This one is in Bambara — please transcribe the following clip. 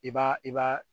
I b'a i b'a